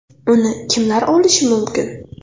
Uni kimlar olishi mumkin?.